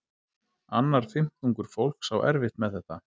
Annar fimmtungur fólks á erfitt með þetta.